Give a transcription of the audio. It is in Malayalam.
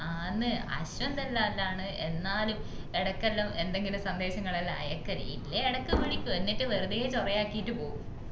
ആന്നു അശ്വന്ത് എല്ലുല്ആണ് എന്നാലും ഇടക്കെല്ലാം എന്തെങ്കിലും സന്ദേശങ്ങൾ എല്ലാം അയക്കല് ഇല്ലേ ഇടക്ക് വിളിക്കും എന്നിട്ട് വെറുതെ ചൊറയാക്കീട്ട് പോകും